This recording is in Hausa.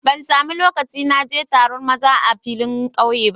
Ban samu loƙci na je taron maza a filin ƙauye ba.